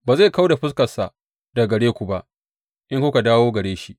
Ba zai kau da fuskarsa daga gare ku ba, in kuka dawo gare shi.